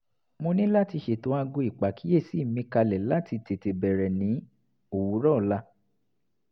mo ní láti ṣètò aago ìpàkíyèsí mi kalẹ̀ láti tètè bẹ̀rẹ̀ ní òwúrọ̀ ọ̀la